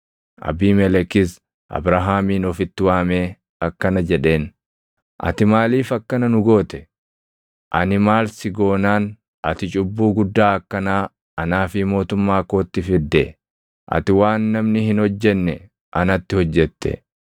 Abiimelekis Abrahaamin ofitti waamee akkana jedheen; “Ati maaliif akkana nu goote? Ani maal si goonaan ati cubbuu guddaa akkanaa anaa fi mootummaa kootti fidde? Ati waan namni hin hojjenne anatti hojjette.”